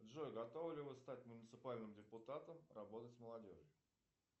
джой готовы ли вы стать муниципальным депутатом работать с молодежью